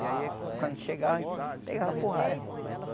E aí quando chegava a gente pegava porrada.